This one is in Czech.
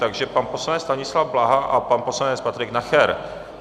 Takže pan poslanec Stanislav Blaha a pan poslanec Patrik Nacher.